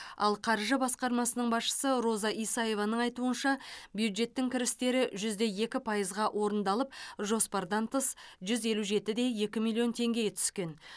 ал қаржы басқармасының басшысы роза исаеваның айтуынша бюджеттің кірістері жүз де екі пайызға орындалып жоспардан тыс жүз елу жеті де екі миллион теңге түскен